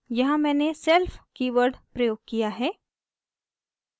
यहाँ मैंने self keyword प्रयोग किया है